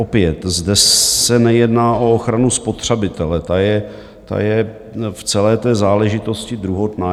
Opět, zde se nejedná o ochranu spotřebitele, ta je v celé té záležitosti druhotná.